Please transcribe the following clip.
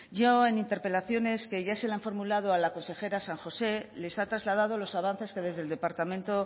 yo en interpelaciones que ya se le han formulado a la consejera san josé les ha trasladado los avances que desde el departamento